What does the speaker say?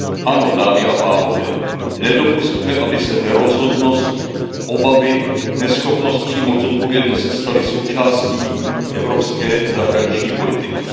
Ano, dámy a pánové, nedopusťme, aby se nerozhodnost, obavy, neschopnost přijmout zodpovědnost staly součástí evropské zahraniční politiky.